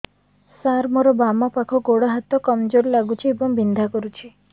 ସାର ମୋର ବାମ ପାଖ ଗୋଡ ହାତ କମଜୁର ଲାଗୁଛି ଏବଂ ବିନ୍ଧା କରୁଛି